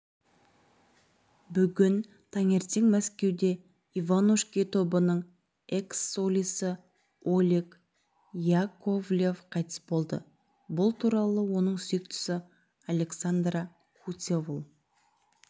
бүгін таңертең мәскеуде иванушки тобының экс-солисі олег яковлев қайтыс болды бұл туралы оның сүйіктісі александра куцевол